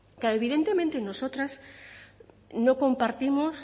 claro evidentemente nosotras no compartimos